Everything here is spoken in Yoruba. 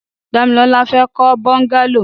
Damilola fè kọ bọngàló